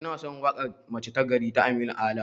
Inason waƙar 'mace ta gari' ta aminu ala